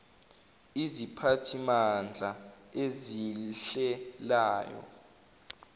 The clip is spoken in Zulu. iziphathimandla ezihl elayo